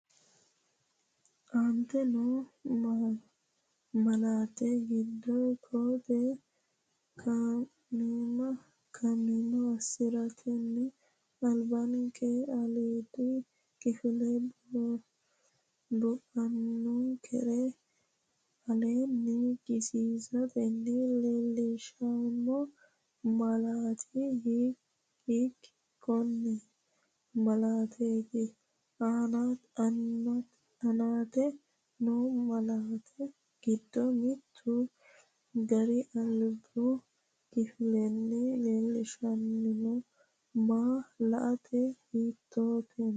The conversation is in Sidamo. Aante noo malaatta giddo koo-tee kaima assi’ratenni albinkera aliidi kifile boqonkera aleenni kisiisatenni leellinsheemmo malaati hiik- konne malaateeti? Aante noo malaatta giddo mittu gari albu kifilenni leellinshanni ma- laatta hiittenneeti?